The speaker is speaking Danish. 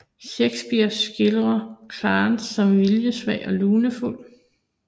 Shakespeare skildrer Clarence som viljesvag og lunefuld